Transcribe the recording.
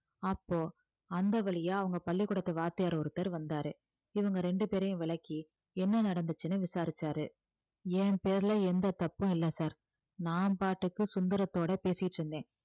அப்போ அந்த வழியா அவங்க பள்ளிக்கூடத்து வாத்தியார் ஒருத்தர் வந்தாரு இவங்க ரெண்டு பேரையும் விலக்கி என்ன நடந்துச்சுன்னு விசாரிச்சாரு என் பேருல எந்த தப்பும் இல்லை sir நான் பாட்டுக்கு சுந்தரத்தோட பேசிட்டு இருந்தேன்